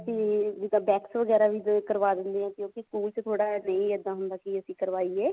ਅਸੀਂ ਜਿਵੇਂ wax ਵਗੈਰਾ ਵੀ ਕਰ ਦਿੰਦੇ ਆ ਕਿਉਂਕਿ ਸਕੂਲ ਚ ਥੋੜਾ ਨਹੀਂ ਇੱਦਾਂ ਹੁੰਦਾ ਵੀ ਅਸੀਂ ਕਰਵਾਈਏ